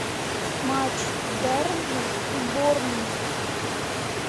матч бернли и борнмут